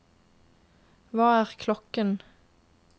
hva er klokken